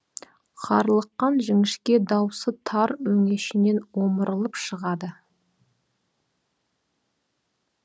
қарлыққан жіңішке даусы тар өңешінен омырылып шығады